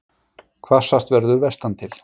Hvassast verður vestantil